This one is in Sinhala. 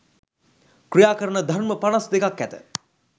ක්‍රියා කරන ධර්ම පනස් දෙකක් ඇත